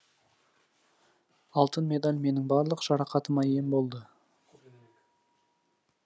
алтын медаль менің барлық жарақатыма ем болды